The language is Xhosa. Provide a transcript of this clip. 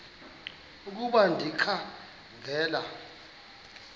ukuba ndikha ngela